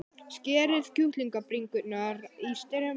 Skerið kjúklingabringurnar í strimla.